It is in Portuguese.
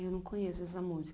Eu não conheço essa música.